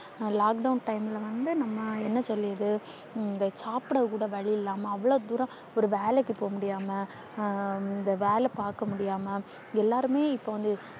Lockdown time ல வந்து நாம என்ன தெரியுது. இந்த சாப்பிடக்கூட வழியில்லாம அவ்ளோ தூரம் ஒரு வேலைக்கு போக முடியாம. வேலை பாக்க முடியாம எல்லாருமே இப்ப வந்து